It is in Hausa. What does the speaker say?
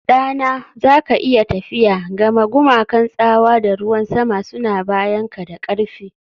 Ɗana, za ka iya tafiya, gama gumakan tsawa da ruwan sama suna bayanka da ƙarfi